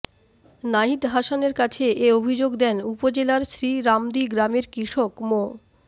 নাহিদ হাসানের কাছে এ অভিযোগ দেন উপজেলার শ্রীরামদী গ্রামের কৃষক মো